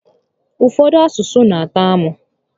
Ụfọdụ asụsụ n'atọ amụ